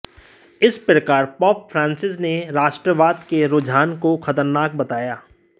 इसी प्रकार pope Francis ने राष्ट्रवाद के रूझान को ख़तरनाक बताया